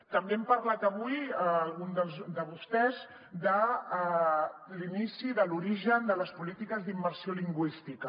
també han parlat avui alguns de vostès de l’inici de l’origen de les polítiques d’immersió lingüística